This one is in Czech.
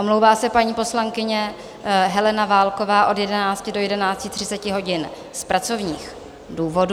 Omlouvá se paní poslankyně Helena Válková od 11 do 11.30 hodin z pracovních důvodů.